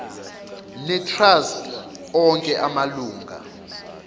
netrust onke amalunga